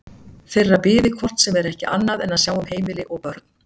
Þeirra biði hvort sem er ekki annað en að sjá um heimili og börn.